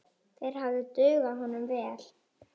Þeir hefðu dugað honum vel.